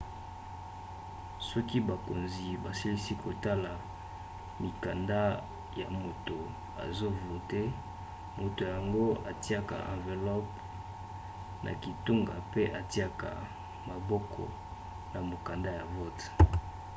soki bakonzi basilisi kotala mikanda ya moto azovote moto yango atiaka anvelope na kitunga mpe atiaka maboko na mokanda ya vote